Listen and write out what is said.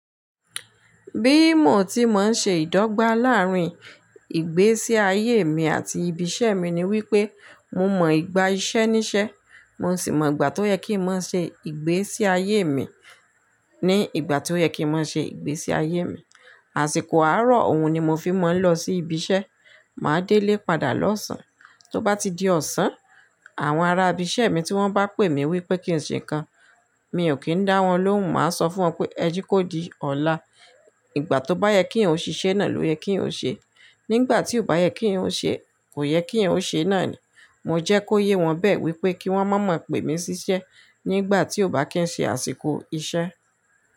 Bí mo ti máa ń ṣe ìdọ́gba láàrín ìgbésí ayé mi àti ibi iṣẹ́ mi ni wípé mo mọ ìgbà iṣẹ́ níṣẹ́, mo sì mọ ìgbà tó yẹ kí n má ṣe ìgbésí ayé mi ní ìgbà tó yẹ kí n má ṣe ìgbésí ayé mi. Àsìkò àárọ̀ òun ni mo fi máa ń lọ sí ibi iṣẹ́, màá délé padà lọ́sàn án. Tó bá ti di ọ̀sán, àwọn ará ibi iṣẹ́ mi tí wọ́n bá pè mí wípé kí n ṣe nǹkan, mi ò kí ń dá wọn lóhùn, màá sọ fún wọn pé ẹ jekó di ọ̀la, ìgbà tó bá yẹ kí eyan ò ṣe iṣẹ́ náà ló yẹ kí eyan ó ṣe. Nígbà tí ò bá yẹ kí eyan ó ṣe, kò yẹ kí eyan ó ṣe náà ni. Mo jẹ́ kó yé wọn bẹ́ẹ̀ wípé kí wọ́n má máa pè mí síṣẹ́ nígbà tí ò bá kín ṣe àsìkò iṣẹ́.